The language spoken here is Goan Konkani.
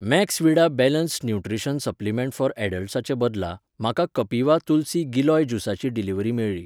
Maxvida balanced nutrition supplement for ऍडल्ट्साचे बदला, म्हाका कपिवा तुलसी गिलोय ज्युसाची डिलिव्हरी मेळ्ळी.